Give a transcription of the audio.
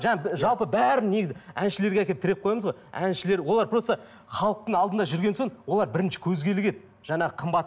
жаңа жалпы бәрін негізі әншілерге әкеліп тіреп қоямыз ғой әншілер олар просто халықтың алдында жүрген соң олар бірінші көзге ілігеді жаңағы қымбат